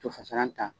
To fasalan ta